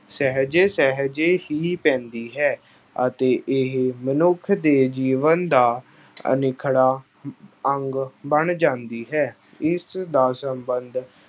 ਸਹਿਜੇ- ਸਹਿਜੇ ਹੀ ਪੈਂਦੀ ਹੈ ਅਤੇ ਇਹ ਮਨੁੱਖ ਦੇ ਜੀਵਨ ਦਾ ਅਨਿੱਖੜਵਾਂ ਅਹ ਅੰਗ ਬਣ ਜਾਂਦੀ ਹੈ। ਇਸ ਦਾ ਸਬੰਧ